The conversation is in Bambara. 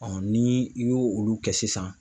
ni i y'o olu kɛ sisan